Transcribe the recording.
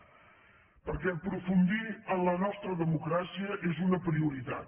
perquè aprofundir en la nostra democràcia és una prioritat